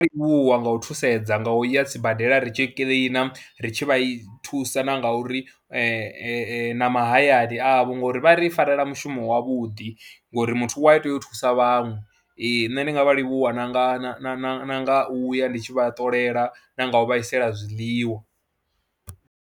Ndi nga mu livhuwa nga u thusedza, nga u ya sibadela ri tshi kiḽina ri tshi vha thusa na nga uri na mahayani avho ngori vha ri farela mushumo wavhuḓi ngori muthu u a tea u thusa vhaṅwe, ee nṋe ndi nga vha livhuwa na nga na na na na u ya ndi tshi vha ṱolela na nga u vha isela zwiḽiwa.